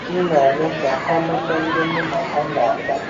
M na - eme ka ha mata ndị mụ na ha na - akpa.